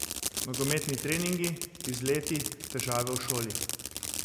Nogometni treningi, izleti, težave v šoli.